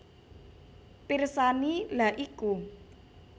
Pirsani lha iku